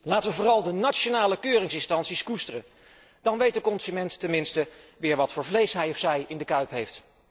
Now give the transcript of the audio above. Laten we vooral de nationale keuringsinstanties koesteren. Dan weet de consument ten minste weer wat voor vlees hij of zij in de kuip heeft.